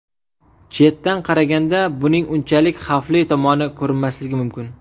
Chetdan qaraganda, buning unchalik xavfli tomoni ko‘rinmasligi mumkin.